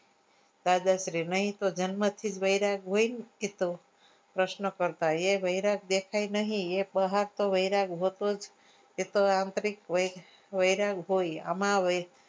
દાદાશ્રી નહી તો જન્મ થી જ વૈરાગ હોય એ તો પ્રશ્નો કરતા એ વૈરાગ્ય દેખાય નહિએ તો બહાર થી વૈરાગ હોતો જ એ તો આંતરિક વૈરાગ હોય